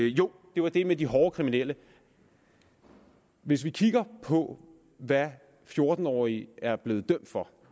jo det var det med de hårde kriminelle hvis vi kigger på hvad fjorten årige er blevet dømt for